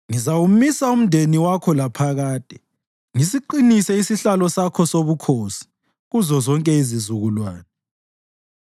‘Ngizawumisa umndeni wakho laphakade, ngisiqinise isihlalo sakho sobukhosi kuzozonke izizukulwane.’ ”